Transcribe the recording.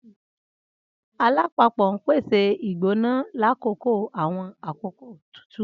Alapapo n pese igbona lakoko awọn akoko tutu.